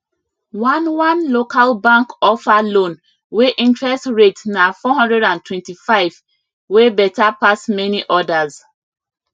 one one local bank offer loan wey interest rate na 425 wey better pass many others